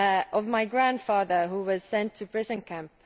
of my grandfather who was sent to a prison camp